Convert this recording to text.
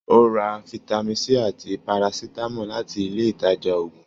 O rà fitami C àti Parasitamọ láti ilé ìtàjà òògùn.